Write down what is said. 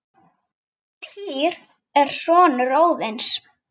Týr er sonur Óðins.